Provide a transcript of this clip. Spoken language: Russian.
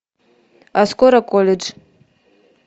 а скоро колледж